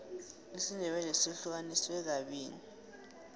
isindebele sihlukaniswe kabili